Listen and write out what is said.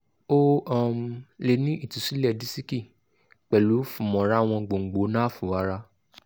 o um le ni itusilẹ disiki pẹlu funmorawon gbongbo nafu ara